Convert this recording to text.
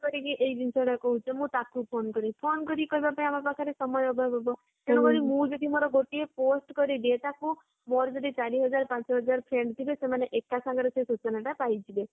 ଜିନିଷଟା କହୁଛ ମୁଁ ତାକୁ phone କରିକି କହିବି phone କରିକି କହିବାରେ ଆମ ପାଖରେ ସମୟ ଅଭାବ ହେବ ତେଣୁକରି ମୁଁ ଯଦି ମୋର ଗୋଟିଏ post କରିଦିଏ ତାକୁ ମୋର ଯଦି ଚାରିହଜାରେ, ପାଞ୍ଚହଜାରେ friend ଥିବେ ସେମାନେ ଏକା ସାଙ୍ଗରେ ସେ ସୂଚନାଟା ପାଇଯିବେ